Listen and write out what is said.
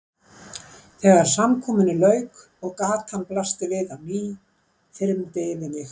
Þegar samkomunni lauk og gatan blasti við á ný þyrmdi yfir mig.